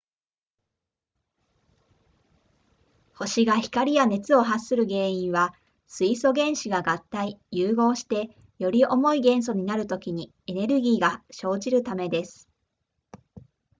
星が光や熱を発する原因は水素原子が合体融合してより重い元素になるときにエネルギーが生じるためです